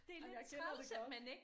Jamen jeg kender det godt